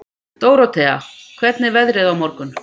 Dórótea, hvernig er veðrið á morgun?